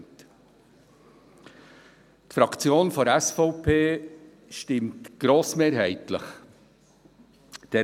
Die Fraktion der SVP stimmt dieser Motion grossmehrheitlich zu.